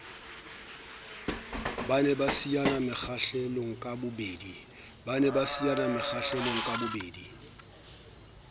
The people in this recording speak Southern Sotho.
ba ne ba siyana mekgahlelokabobedi